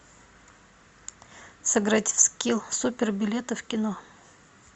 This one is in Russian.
сыграть в скилл супер билеты в кино